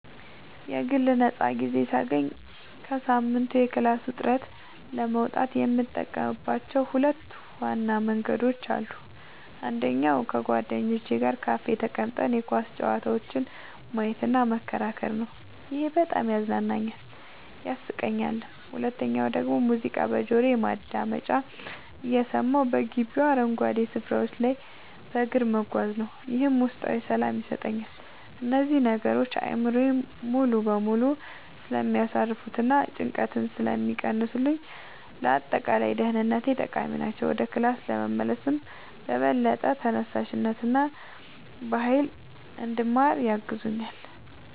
የግል ነፃ ጊዜ ሳገኝ ከሳምንቱ የክላስ ውጥረት ለመውጣት የምጠቀምባቸው ሁለት ዋና መንገዶች አሉኝ። አንደኛው ከጓደኞቼ ጋር ካፌ ተቀምጠን የኳስ ጨዋታዎችን ማየትና መከራከር ነው፤ ይሄ በጣም ያዝናናኛል፣ ያሳቀኛልም። ሁለተኛው ደግሞ ሙዚቃ በጆሮ ማዳመጫ እየሰማሁ በግቢው አረንጓዴ ስፍራዎች ላይ በእግር መጓዝ ነው፤ ይህም ውስጣዊ ሰላም ይሰጠኛል። እነዚህ ነገሮች አእምሮዬን ሙሉ በሙሉ ስለሚያሳርፉትና ጭንቀትን ስለሚቀንሱልኝ ለአጠቃላይ ደህንነቴ ጠቃሚ ናቸው። ወደ ክላስ ስመለስም በበለጠ ተነሳሽነትና በሃይል እንድማር ያግዙኛል።